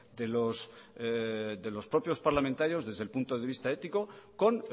de los propios parlamentarios desde el punto de vista ético con